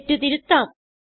തെറ്റ് തിരുത്താം